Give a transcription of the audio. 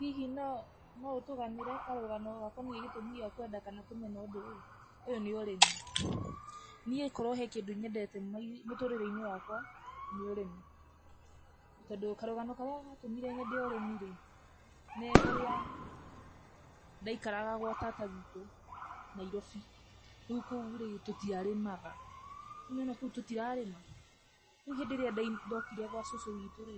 Hihi no, no ũtũganĩre karũgano gakoniĩ gĩtũmi gĩa kwenda kana kũmena ũndũ ũyũ? Ũyũ nĩ ũrĩmi, niĩ korwo he kĩndũ nyendete mũtũrĩre-inĩ wakwa, nĩ ũrĩmi, tondũ karũgano karĩa gatũmire nyende ũrĩmi rĩ, nĩ ũrĩa ndaikaraga gwa tata witũ Nairobi, no kũ rĩ, tũtiarĩmaga, nĩwona kũu tũtirarĩma, rĩu hĩndĩ ĩrĩa ndokire gwa cũcũ witũ rĩ,